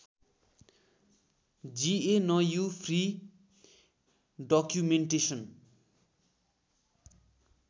GNU free documentation